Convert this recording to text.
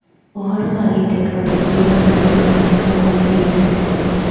ũhoro wa tekinoronjĩ ũragarũrũka mahinda kwa mahinda.